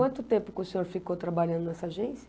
Quanto tempo que o senhor ficou trabalhando nessa agência?